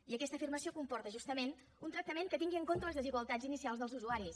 i aquesta afirmació comporta justament un tractament que tingui en compte les desigualtats inicials dels usuaris